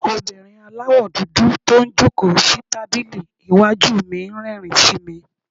obìnrín àláwọ dúdú to n jọ̀kó si tabili iwájú mí n rérìn sí me